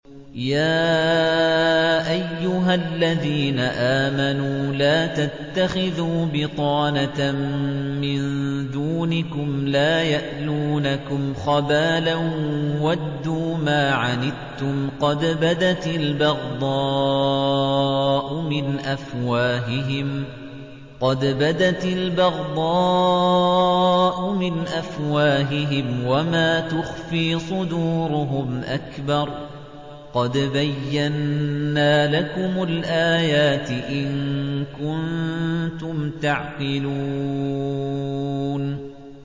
يَا أَيُّهَا الَّذِينَ آمَنُوا لَا تَتَّخِذُوا بِطَانَةً مِّن دُونِكُمْ لَا يَأْلُونَكُمْ خَبَالًا وَدُّوا مَا عَنِتُّمْ قَدْ بَدَتِ الْبَغْضَاءُ مِنْ أَفْوَاهِهِمْ وَمَا تُخْفِي صُدُورُهُمْ أَكْبَرُ ۚ قَدْ بَيَّنَّا لَكُمُ الْآيَاتِ ۖ إِن كُنتُمْ تَعْقِلُونَ